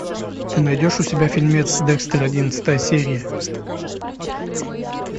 ты найдешь у себя фильмец декстер одиннадцатая серия